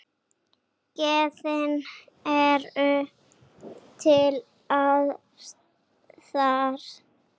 Gæðin eru til staðar.